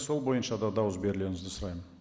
сол бойынша да дауыс берулеріңізді сұраймын